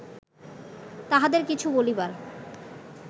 তাঁহাদের কিছু বলিবার